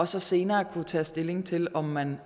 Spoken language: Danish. så senere at kunne tage stilling til om man